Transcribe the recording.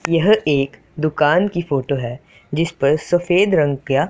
यह एक दुकान की फोटो है जिस पर सफेद रंग क्या--